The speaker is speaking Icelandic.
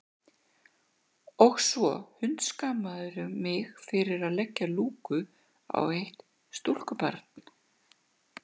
Og svo hundskammarðu mig fyrir að leggja lúku á eitt stúlkubarn.